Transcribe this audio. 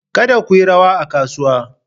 Kada ku yi rawa a kasuwa!